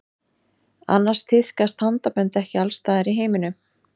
Annars tíðkast handabönd ekki alls staðar í heiminum.